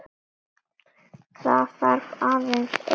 Það þarf aðeins einn til.